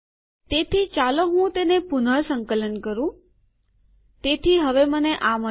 તેથી ચાલો હું તેને પુનઃસંકલન કરું તેથી હવે મને આ મળ્યું છે